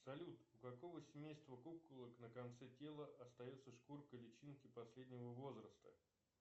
салют у какого семейства куколок на конце тела остается шкурка личинки последнего возраста